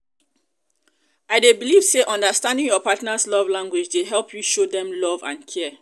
i dey believe say understanding your partner's love language dey help you show dem love and care.